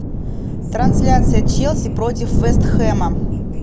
трансляция челси против вест хэма